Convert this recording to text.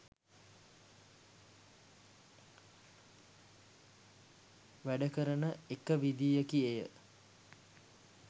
වැඩ කරන එක විදිහකි එය.